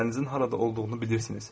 Şeylərinizin harada olduğunu bilirsiniz.